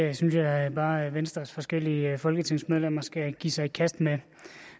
det synes jeg bare venstres forskellige folketingsmedlemmer skal give sig i kast med